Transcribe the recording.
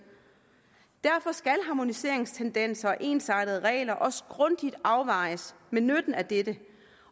derfor skal harmoniseringstendenser og ensartede regler også grundigt afvejes med nytten af dette